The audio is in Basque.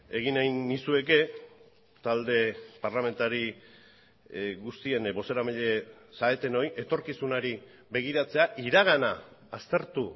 egin nahi nizueke talde parlamentari guztien bozeramaile zaretenoi etorkizunari begiratzea iragana aztertu